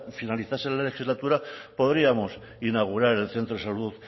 finalizase la legislatura podríamos inaugurar el centro de salud